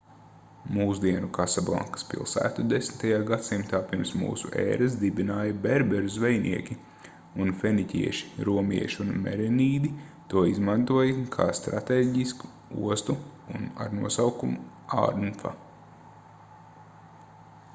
mūsdienu kasablankas pilsētu 10. gadsimtā pirms mūsu ēras dibināja berberu zvejnieki un feniķieši romieši un merenīdi to izmantoja kā stratēģisku ostu ar nosaukumu anfa